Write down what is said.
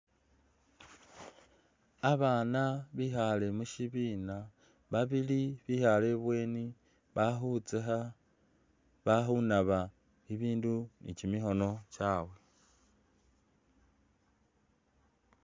Abana bikhale musibina babili bekhale ibweni bali khutsakha bali kunaba ibindu ne kimikhono tsawe